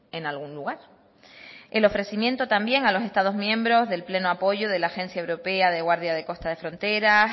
en algún lugar el ofrecimiento también a los estados miembros del pleno apoyo de la agencia europea de guardia de costa de fronteras